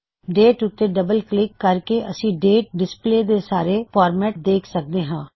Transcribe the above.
date ਉੱਤੇ double click ਕਰਕੇ ਅਸੀ ਡੇਟ ਵਿਖਾਉਨ ਦੇ ਸਾਰੇ ਫਾਰਮੈਟ ਦੇਖ ਸਕਦੇ ਹਾਂ